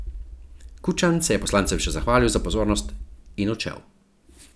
Kučan se je poslancem še zahvalil za pozornost in odšel.